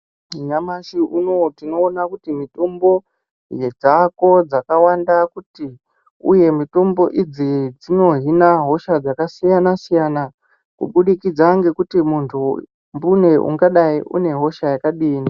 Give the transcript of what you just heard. Nyamashi unowu tinoona kuti mitombo dzaako ,dzakawanda kuti uye mitombo idzi dzinohina hosha dzakasiyana-siyana ,kubudikidza ngekuti muntu mbune, ungadai une hosha yakadini.